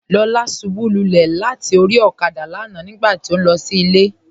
Lọla ṣúbú lúlẹ̀ látì orí òkádà lánà nígbàtí ó nlọ sí ilẹ̀.